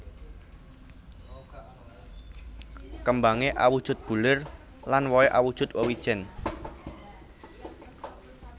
Kêmbangé awujud bulir lan wohé awujud wêwijèn